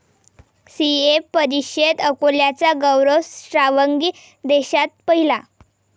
CA परीक्षेत अकोल्याचा गौरव श्रावगी देशात पहिला